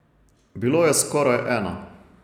Bilo je skoraj ena.